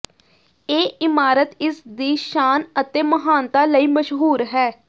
ਇਹ ਇਮਾਰਤ ਇਸਦੀ ਸ਼ਾਨ ਅਤੇ ਮਹਾਨਤਾ ਲਈ ਮਸ਼ਹੂਰ ਹੈ